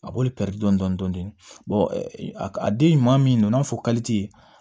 A b'olu pɛridi dɔɔni dɔɔni a den ɲuman min n'a fɔ